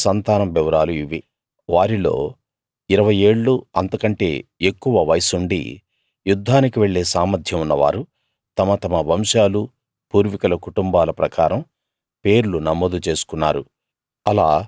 మనష్షే సంతానం వివరాలు ఇవి వారిలో ఇరవై ఏళ్ళూ అంతకంటే ఎక్కువ వయస్సుండి యుద్ధానికి వెళ్ళే సామర్థ్యం ఉన్నవారు తమ తమ వంశాలూ పూర్వీకుల కుటుంబాల ప్రకారం పేర్లు నమోదు చేసుకున్నారు